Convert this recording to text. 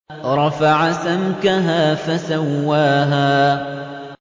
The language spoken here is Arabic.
رَفَعَ سَمْكَهَا فَسَوَّاهَا